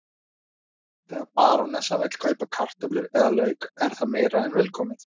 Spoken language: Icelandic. Þegar barónessan vill kaupa kartöflur eða lauk er það meira en velkomið.